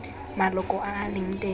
maloko a a leng teng